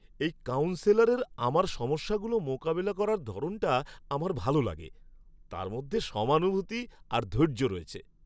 এই কাউন্সেলরের আমার সমস্যাগুলো মোকাবিলা করার ধরনটা আমার ভালো লাগে। তাঁর মধ্যে সমানুভূতি আর ধৈর্য রয়েছে।